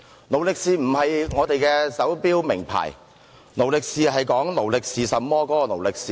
"勞力是"並非名牌手錶，而是指"勞力是甚麼"的"勞力是"。